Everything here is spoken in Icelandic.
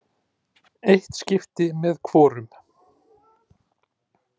Eitt skipti með hvorum.